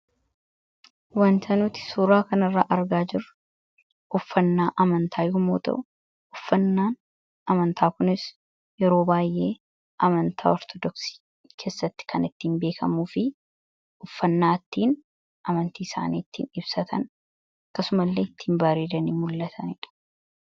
wantanuuti suuraa kan irraa argaa jiru uffannaa amantaa ymoota uffannaan amantaa kunis yeroo baay'ee amantaa ortodoksii keessatti kan ittiin beekamuu fi uffannaattiin amantii isaaniittiin ibsatan kasuma illee ittiihin baariidanii mul'ataniidha